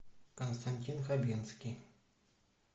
константин хабенский